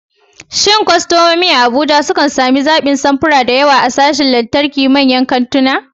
Shin kwastomomi a Abuja sukan sami zaɓin samfura da yawa a sashin lantarki a manyan kantuna?